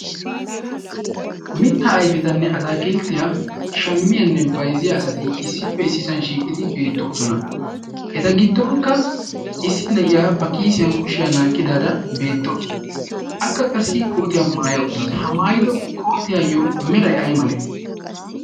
mittaa aifetanne ataakilttiyaa shammiyaanne baizziya asati issippe issisan shiiqidi beettoosona. eta giddonkka issi ne7iyaa ba kiisiyan kushiyaa naaqqidaada beettawusu. akka qassi kootiyaa maaya uttaasu. ha maayido kootiyaayyo merai ai male?